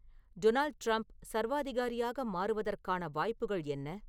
Donald Trump சர்வாதிகாரியாக மாறுவதற்கான வாய்ப்புகள் என்ன